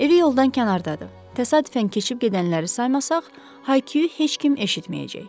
Evi yoldan kənardadır, təsadüfən keçib gedənləri saymasaq, Hayku heç kim eşitməyəcək.